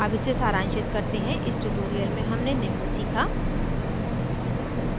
अब इसे सारांशित करते हैं इस tutorial में हमने निम्न सीखा